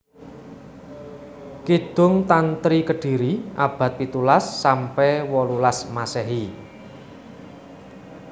Kidung Tantri Kediri abad pitulas sampe wolulas Masehi